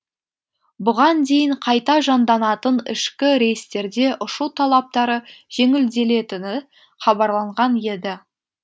бұған дейін қайта жанданатын ішкі рейстерде ұшу талаптары жеңілделетіні хабарланған еді